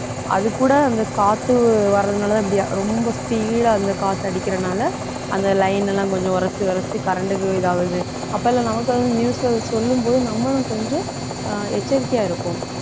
அதுகூட அந்த காத்து வர்றதுனாலதான் இப்படி ரொம்ப speed ஆ அந்த காத்து அடிக்கிறனால அந்த line எல்லாம் கொஞ்சம் உரசி உரசி current க்கு இது ஆகுது அப்போ எல்லாம் நமக்காக news அ சொல்லும் போது நம்மளும் கொஞ்சம் அஹ் எச்சரிக்கையா இருப்போம்